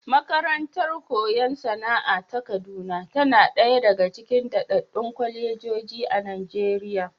Makarantar koyon sana'a ta Kaduna tana ɗaya aga cikin daɗaɗɗun kwalejoji a Najeriya.